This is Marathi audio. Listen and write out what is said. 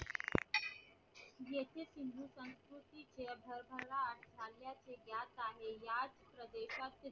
काही याच प्र्देश्यात